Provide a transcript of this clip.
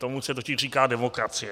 Tomu se totiž říká demokracie.